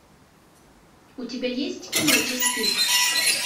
у тебя есть кино час пик